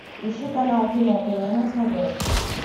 ищи канал кино тв на смотрешке